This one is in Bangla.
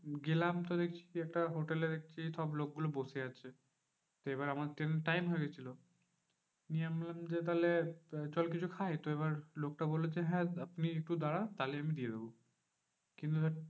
গেলাম তো একটা হোটেলে দেখছি সব লোকগুলো বসে আছে। এবার আমাদের ট্রেনের time হয়ে গেছিলো। নিয়ে আমি বললাম যে, তাহলে চল কিছু খাই। এবার লোকটা বললো যে, হ্যাঁ আপনি একটু দাঁড়ান তাহলে আমি দিয়ে দেব। কিন্তু দেখ